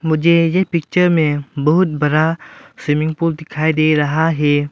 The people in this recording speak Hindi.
मुझे ये पिक्चर में बहुत बड़ा स्विमिंग पुल दिखाई दे रहा है।